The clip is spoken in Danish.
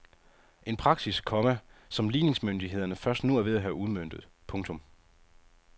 En praksis, komma som ligningsmyndighederne først nu er ved at have udmøntet. punktum